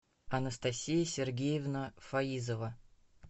анастасия сергеевна фаизова